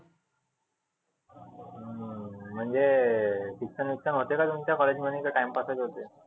हम्म म्हणजे शिक्षण होते का तुम्हच्या college मध्ये का time pass च होते.